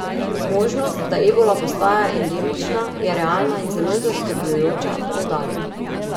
Možnost, da ebola postaje endemična, je realna in zelo zaskrbljujoča, poudarja.